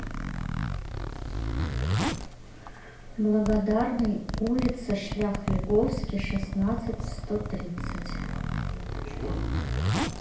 благодарный улица шлях льговский шестнадцать в сто тридцать